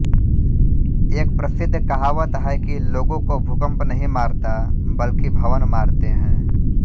एक प्रसिद्ध कहावत है कि लोगों को भूकम्प नहीं मारता बल्कि भवन मारते हैं